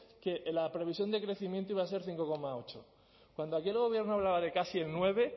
que la previsión de crecimiento iba a ser cinco coma ocho cuando aquí el gobierno hablaba de casi el nueve